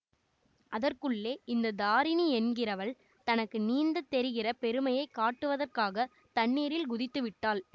அதற்குள்ளே இந்த தாரிணி என்கிறவள் தனக்கு நீந்தத் தெரிகிற பெருமையை காட்டுவதற்காகத் தண்ணீரில் குதித்து விட்டாள்